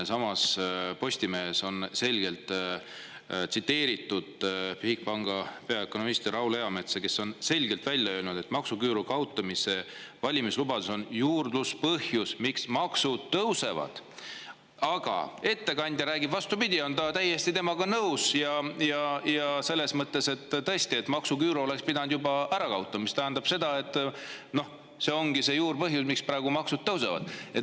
Postimehes on selgelt tsiteeritud Bigbanki peaökonomisti Raul Eametsa, kes on selgelt välja öelnud, et maksuküüru kaotamise valimislubadus on juurpõhjus, miks maksud tõusevad, aga ettekandja räägib, vastupidi, et ta on täiesti nõus selles mõttes, et maksuküüru oleks pidanud tõesti juba ära kaotama, mis tähendab, et see ongi see juurpõhjus, miks praegu maksud tõusevad.